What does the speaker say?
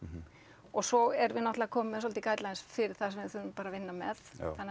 og svo erum við náttúrulega komin með svolítið fyrir það sem við þurfum bara að vinna með þannig að